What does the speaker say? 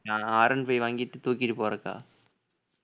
நான் Rone five வாங்கிட்டு தூக்கிட்டு போறதுக்கா